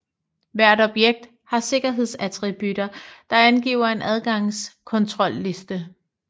Hvert objekt har sikkerhedsattributter der angiver en adgangskontrolliste